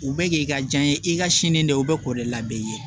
U bɛ k'i ka diɲɛ i ka sini dɛ o bɛ k'o de labɛn i ye